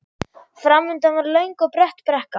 Framundan var löng og brött brekka.